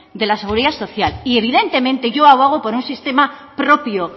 de la seguridad social y evidentemente yo abogo por un sistema propio